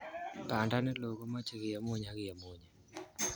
banda neloo komechei kemunyi ak kemunyi